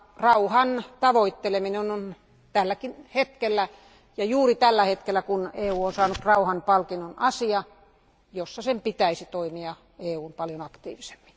Rauhan tavoitteleminen on tälläkin hetkellä, ja juuri tällä hetkellä, kun EU on saanut rauhanpalkinnon, asia, jossa sen pitäisi toimia paljon aktiivisemmin.